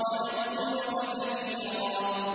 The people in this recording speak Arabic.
وَنَذْكُرَكَ كَثِيرًا